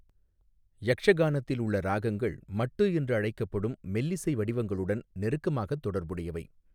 யக்ஷகானத்தில் உள்ள ராகங்கள் மட்டு என்று அழைக்கப்படும் மெல்லிசை வடிவங்களுடன் நெருக்கமாக தொடர்புடையவை.